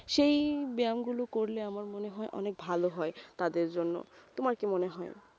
সেই ব্যায়ামগুলো করলে আমার মনে হয় অনেক ভালো হয় তাদের জন্য তোমার কি মনে হয়?